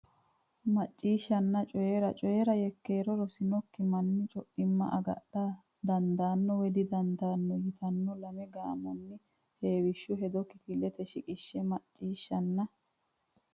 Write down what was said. Macciishshanna Coy ira Coy ira Yekkeero Rosinokki manni co imma agadha dandaanno woy didandaano yitinanni lame gaamonni heewishshu hedo kifilete shiqishshe Macciishshanna.